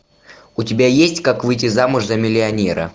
у тебя есть как выйти замуж за миллионера